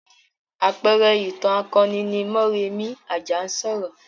Àpẹẹrẹ ìtàn akoni ni Mọ́rẹmì Àjànsorò.